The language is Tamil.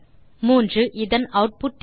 3இதன் ஆட்புட் என்ன